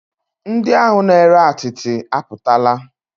Ndị ahụ na-ere atịtị apụtala?